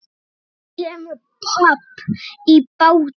Svo kemur babb í bátinn.